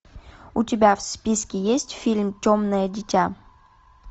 у тебя в списке есть фильм темное дитя